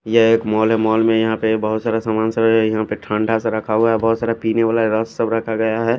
ये एक मॉल है मॉल में यहा पे बहोत सारा सामान सा है यहा पे ठण्डा सा रखा हुआ है बहोत सारा पिने वाला रस सब रखा गया है।